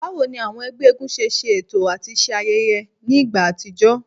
Bawo ni awọn ẹgbẹ eégún ṣe ṣeto ati ṣe ayẹyẹ ni igba atijọ?